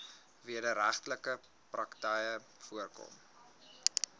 wederregtelike praktyke voorkom